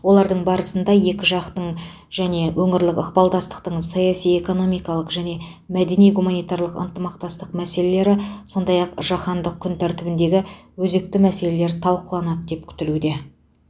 олардың барысында екі жақтың және өңірлік ықпалдастықтың саяси экономикалық және мәдени гуманитарлық ынтымақтастық мәселелері сондай ақ жаһандық күн тәртібіндегі өзекті мәселелер талқыланады деп күтілуде